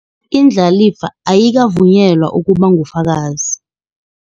Indlalifa ayika vunyelwa ukuba ngufakazi.